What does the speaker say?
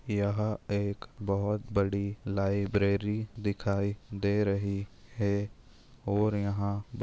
यह एक बहुत बड़ी लाइब्रेरी दिखाई दे रही है। और यहा--